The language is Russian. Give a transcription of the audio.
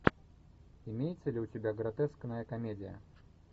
имеется ли у тебя гротескная комедия